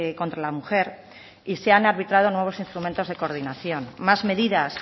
contra la mujer y se han arbitrado nuevos instrumentos de coordinación más medidas